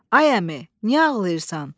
Ay əmi, niyə ağlayırsan?